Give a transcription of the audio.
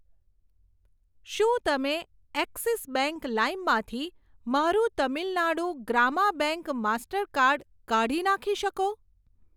શું તમે Axis bank લાઇમ માંથી મારું તમિલ નાડું ગ્રામા બેંક માસ્ટરકાર્ડ કાઢી નાખી શકો?